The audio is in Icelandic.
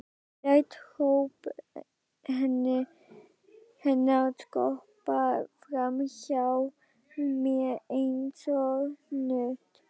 Læt hróp hennar skoppa fram hjá mér einsog knött.